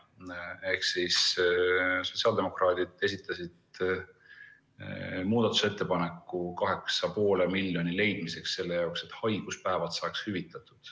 Sotsiaaldemokraadid esitasid muudatusettepaneku 8,5 miljoni euro leidmiseks selle jaoks, et haiguspäevad saaks hüvitatud.